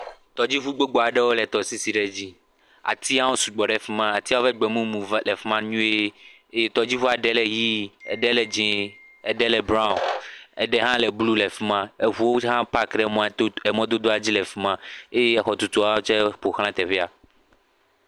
Ɖetugbivi aɖe le aƒeme. Ele eƒe dzodoƒee eye wote ɖe egbaklɔnu yike nye sinki nu ŋu tsia ale be tsia le kɔkɔm ɖe agba me. Ekɔ kaƒomɔ hã ɖo to le nu kom.